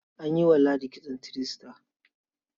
An yi wa ladi kitson three star.